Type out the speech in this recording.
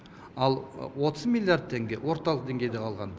ал отыз миллиард теңге орталық деңгейде қалған